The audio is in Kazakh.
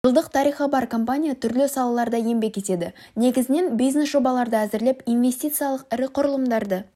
жылдық тарихы бар компания түрлі салаларда еңбек етеді негізінен бизнес жобаларды әзірлеп инвестициялық ірі құрылымдарды